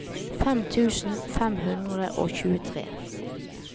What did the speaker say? fem tusen fem hundre og tjuetre